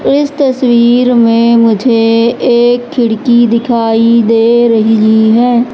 इस तस्वीर में मुझे एक खिड़की दिखाई दे रही है।